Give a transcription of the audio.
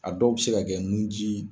A dɔw bɛ se ka kɛ nu ji.